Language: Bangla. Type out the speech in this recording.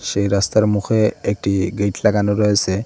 এই রাস্তার মুখে একটি গেইট লাগানো রয়েসে ।